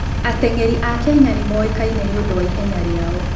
Ateng'eri a Kenya nĩ moĩkaine nĩ ũndũ wa ihenya rĩao.